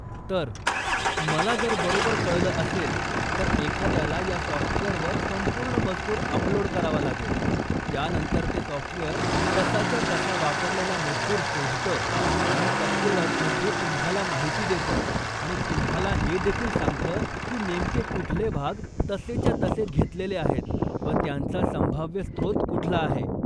तर, मला जर बरोबर कळलं असेल, तर एखाद्याला या सॉफ्टवेअरवर संपूर्ण मजकूर अपलोड करावा लागेल, त्यानंतर ते सॉफ्टवेअर तसाच्या तसा वापरलेला मजकूर शोधतं आणि टक्केवारीमध्ये तुम्हाला माहिती देतं, आणि तुम्हाला हे देखील सांगतं की नेमके कुठले भाग तसेच्या तसे घेतलेले आहेत व त्यांचा संभाव्य स्त्रोत कुठला आहे.